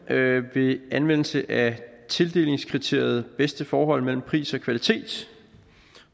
ved anvendelse af tildelingskriteriet bedste forhold mellem pris og kvalitet